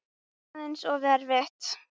Aðeins of erfitt.